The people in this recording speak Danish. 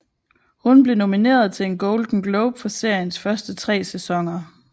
Hun blev nomineret til en Golden Globe for seriens første tre sæsoner